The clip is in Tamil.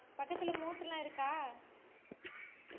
பக்கத்துல motor லா இருக்கா